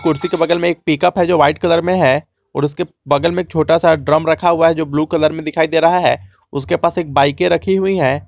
कुर्सी के बगल में एक पिकअप है जो वाइट कलर में है और उसके बगल में छोटा सा ड्रम रखा हुआ है जो ब्लू कलर में दिखाई दे रहा है उसके पास एक बाइके रखी हुई है।